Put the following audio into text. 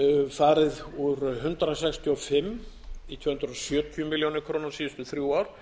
farið úr hundrað sextíu og fimm í tvö hundruð sjötíu milljónum króna síðustu þrjú ár